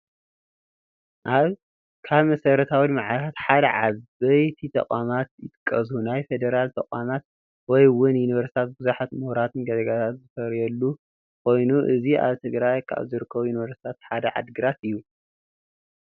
ካብ መሰረታዊ ልምዓታት ሓደ ዓበይቲ ተቋማት ይጥቀሱ፡፡ ናይ ፌዴራል ተቋማት ወይ እውን ዩኒቨርስቲታት ብዙሓት ሙሁራት ዜጋታት ዝፈርዩሉ ኮይኑ እዚ ኣብ ትግራይ ካብ ዝርከቡ ዩኒቨርስቲታት ሓደ ዓዲ ግራት እዩ፡፡